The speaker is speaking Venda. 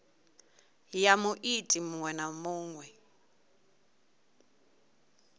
ya muiti muṅwe na muṅwe